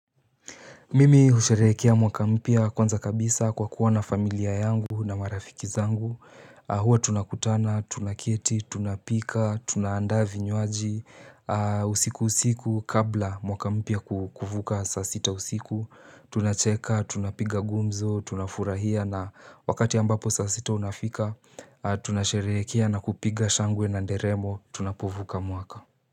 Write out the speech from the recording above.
Mimi usherehekia mwaka mpya kwanza kabisa kwa kuwa na familia yangu na marafiki zangu Huwa tunakutana, tunaketi, tunapika, tunaandaa vinywaji, usiku usiku kabla mwaka mpya kuvuka saa sita usiku Tunacheka, tunapiga gumzo, tunafurahia na wakati ambapo saa sita unafika Tunasherehekia na kupiga shangwe na nderemo, tunapovuka mwaka.